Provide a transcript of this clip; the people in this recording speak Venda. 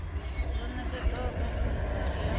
ḽo nekedzwaho kha formulary ya